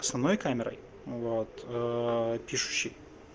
основной камерой вот пишущей